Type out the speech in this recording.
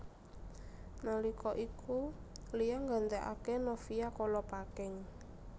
Nalika iku Lia nggantekaké Novia Kolopaking